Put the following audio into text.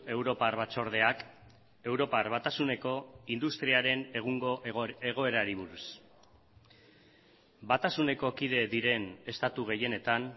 europar batzordeak europar batasuneko industriaren egungo egoerari buruz batasuneko kide diren estatu gehienetan